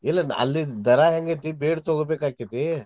ಇಲ್ಲಿ ಅಲ್ಲಿದ್ ದರಾ ಹೆಂಗ್ ಐತಿ ಬೇಡ್ ತಗೋಬೇಕ್ ಆಕ್ಕೆತಿ.